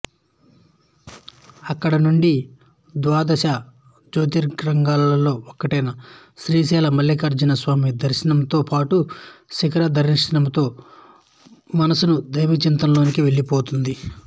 అక్కడి నుండి ద్వాదశ జ్యోతిర్లింగాలలో ఒక్కటైన శ్రీశైలమల్లికార్జున స్వామి దర్శనంతో పాటు శిఖర దర్శనంతో మనసు దైవచింతనలోకి వెళ్ళిపోతుంది